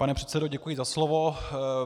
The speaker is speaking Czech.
Pane předsedo, děkuji za slovo.